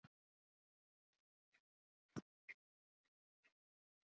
Veðurofsi á vesturströndinni